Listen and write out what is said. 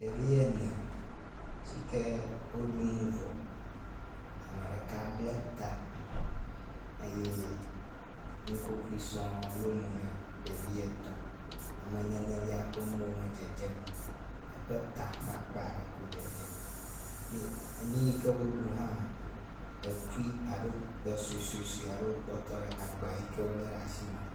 Ɖevi ene sike wo ɖunu vɔ, ameɖeka ble ta eye nukokui sɔŋŋ yɔ mo nɛ ɖevi etɔ̃, ame nenelia ƒe mo me dzedzem o eƒe ta ƒe akpa aɖe koe dzedze. Ni ni yike woɖu hã ekui suɛsuɛsuɛwo kpɔtɔ ɖe agbayike wole ɖe asime.